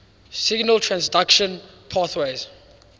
signal transduction pathways